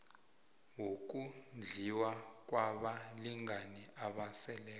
wokondliwa kwabalingani abaseleko